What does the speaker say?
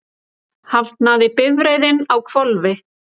Hafnaði bifreiðin á hvolfi